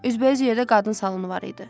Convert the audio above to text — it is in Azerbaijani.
Üzbəüz yerdə qadın salonu var idi.